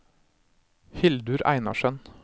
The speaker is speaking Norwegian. Hildur Einarsen